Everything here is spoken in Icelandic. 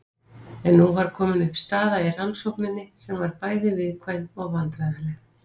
En nú var komin upp staða í rannsókninni sem var bæði viðkvæm og vandræðaleg.